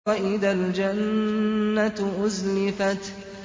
وَإِذَا الْجَنَّةُ أُزْلِفَتْ